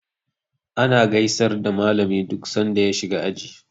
Ana gaisar da malami duk san da ya shiga aji.